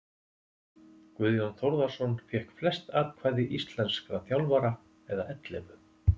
Guðjón Þórðarson fékk flest atkvæði íslenskra þjálfara eða ellefu.